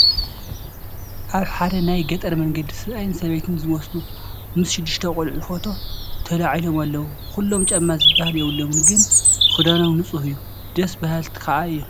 ኣብ ሓደ ናይ ገጠር መንደር ሰብኣይን ሰበይትን ዝመስሉ ምስ ሽዱሽተ ቆልዑ ፎቶ ተላዒሎም ኣለዉ፡፡ ኩሎም ጫማ ዝብሃል የብሎምን፡፡ ግን ክዳኖም ንፁህ እዩ፡፡ ደስ በሃልቲ ከዓ እዮም፡፡